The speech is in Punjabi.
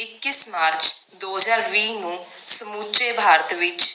ਇੱਕੀਸ ਮਾਰਚ ਦੋ ਹਜਾਰ ਵੀ ਨੂੰ ਸਮੁਚੇ ਭਾਰਤ ਵਿਚ